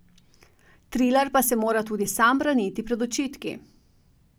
Trilar pa se mora tudi sam braniti pred očitki.